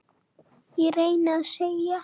reyni ég að segja.